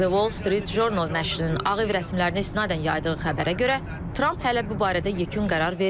The Wall Street Journal nəşrinin Ağ Ev rəsmilərinə istinadən yaydığı xəbərə görə Tramp hələ bu barədə yekun qərar verməyib.